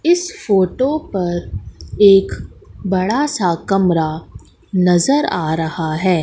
इस फोटो पर एक बड़ा सा कमरा नजर आ रहा है।